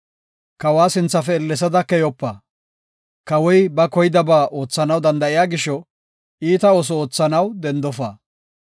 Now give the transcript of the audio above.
Kawa sinthafe ellesada keyopa; kawoy ba koydaba oothanaw danda7iya gisho iita ooso oothanaw dendofa.